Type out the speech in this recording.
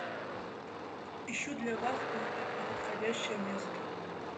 ищу для вас подходящее место